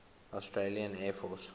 australian air force